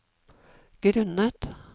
grunnet